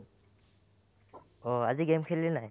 অ, আজি game খেলিলিনে নাই ?